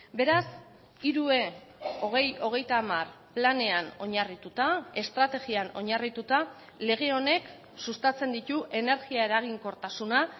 beraz hiru e hogei hogeita hamar planean oinarrituta estrategian oinarrituta lege honek sustatzen ditu energia eraginkortasuna